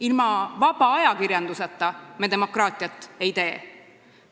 Ilma vaba ajakirjanduseta me demokraatiat ei tee.